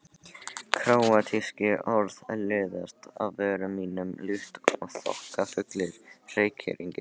Króatísk orð liðast af vörum mínum líkt og þokkafullir reykhringir.